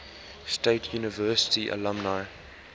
state university alumni